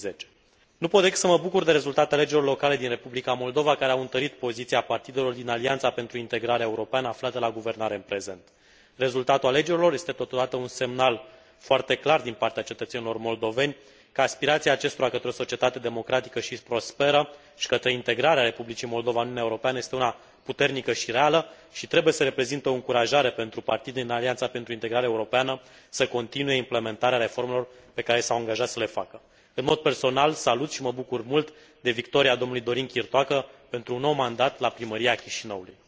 2010. Nu pot decât să mă bucur de rezultatele alegerilor locale din Republica Moldova, care au întărit poziția partidelor din Alianța pentru Integrare Europeană, aflată la guvernare în prezent. Rezultatul alegerilor este totodată un semnal foarte clar din partea cetățenilor moldoveni că aspirația acestora către o societate democratică și prosperă și către integrarea republicii Moldova în Uniunea Europeană este una puternică și reală, și trebuie să reprezinte o încurajare pentru partidele din Alianța pentru Integrare Europeană să continue implementarea reformelor pe care s au angajat să le facă. În mod personal, salut și mă bucur mult de victoria domnului Dorin Chirtoacă pentru un nou mandat la primăria Chișinăului.